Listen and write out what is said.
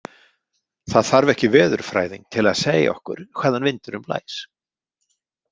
Það þarf ekki veðurfræðing til að segja okkur hvaðan vindurinn blæs.